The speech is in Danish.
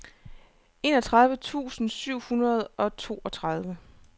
enogtredive tusind syv hundrede og toogtredive